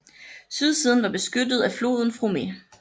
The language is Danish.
Sydsiden var beskyttet af floden Frome